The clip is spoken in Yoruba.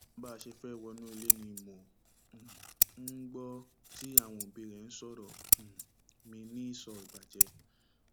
bá a ṣe fẹẹ wọnú ilé ni mò um ń gbọ tí àwọn òbí rẹ ń sọrọ um mi ní ìsọ ìbàjẹ